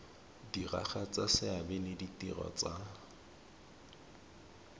diragatsa seabe le ditiro tsa